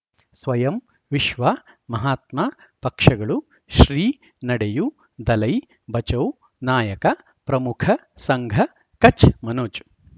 ಸ್ವಯಂ ವಿಶ್ವ ಮಹಾತ್ಮ ಪಕ್ಷಗಳು ಶ್ರೀ ನಡೆಯೂ ದಲೈ ಬಚೌ ನಾಯಕ ಪ್ರಮುಖ ಸಂಘ ಕಚ್ ಮನೋಜ್